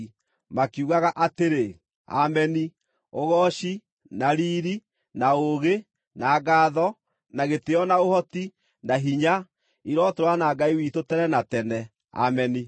Makiugaga atĩrĩ: “Ameni! Ũgooci, na riiri, na ũũgĩ, na ngaatho, na gĩtĩĩo na ũhoti, na hinya, irotũũra na Ngai witũ tene na tene. Ameni!”